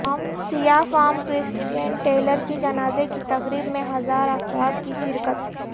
سیاہ فام کرسچین ٹیلرکی جنازے کی تقریب میں ہزارا افراد کی شرکت